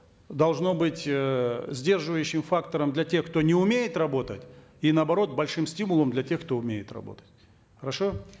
должно быть э сдерживающим фактором для тех кто не умеет работать и наоборот большим стимулом для тех кто умеет работать хорошо